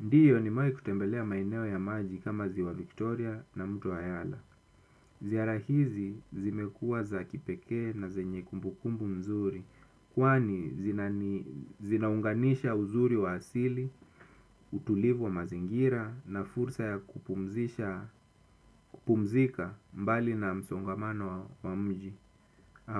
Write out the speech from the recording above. Ndiyo nimewai kutembelea maeneo ya maji kama ziwa Victoria na mto wa yala. Ziara hizi zimekuwa za kipekee na zenye kumbu kumbu mzuri. Kwani zinaunganisha uzuri wa asili, utulivu wa mazingira na fursa ya kupumzika mbali na msongamano wa mji.